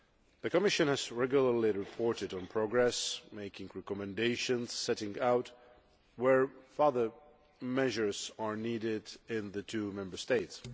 The Commission has regularly reported on progress, making recommendations setting out where further measures are needed in the two Member States.